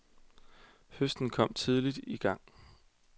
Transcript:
Høsten kom tidligt i gang.